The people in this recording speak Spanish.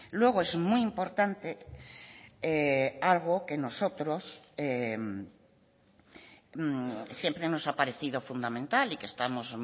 luego es muy importante algo que nosotros siempre nos ha parecido fundamental y que estamos